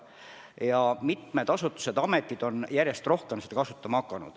Mitmed asutused-ametid on seda järjest rohkem kasutama hakanud.